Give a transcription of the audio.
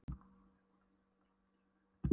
endanum var ég búinn að missa allar áttir.